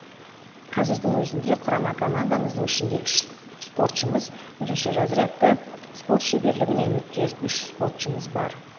қазірдің өзінде құрама командамыздың ішінде үш спортшымыз бірінші разрядты спорт шеберлігіне үміткер үш спортшымыз бар